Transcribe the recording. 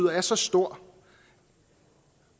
er så stor